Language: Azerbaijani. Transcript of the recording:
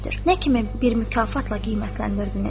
Nə kimi bir mükafatla qiymətləndirdiniz?